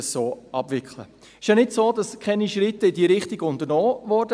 Es ist ja nicht so, dass keine Schritte in diese Richtung unternommen wurden.